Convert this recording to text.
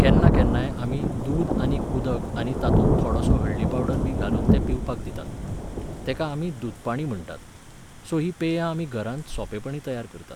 केन्ना केन्नाय आमी दूद आनीक उदक आनी तातूंत थोडोसो हळदी पावडर बी घालून तें पिवपाक दिता. तेका आमी दूदपाणी म्हणटात. सो ही पेयां आमी घरांत सोंपेपणी तयार करतात.